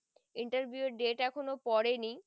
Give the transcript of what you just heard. interview এর date এখনো পরেনি